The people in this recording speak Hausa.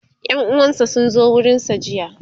ƴan uwansa sun zo gurinsa jiya